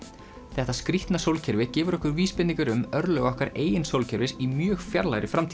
þetta skrítna sólkerfi gefur okkur vísbendingar um örlög okkar eigin sólkerfis í mjög fjarlægri framtíð